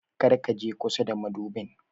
Kar ka je kusa da madubin.